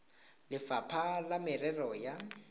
le lefapha la merero ya